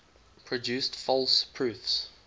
produced false proofs